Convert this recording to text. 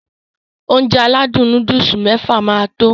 Ounjẹ aládùn nóódùsì mẹ́fà máa tó